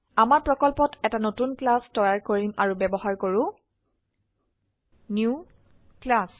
আমাৰ প্ৰকল্পত এটা নতুন ক্লাস তৈয়াৰ কৰিম আৰু ব্যবহাৰ কৰো নিউ ক্লাছ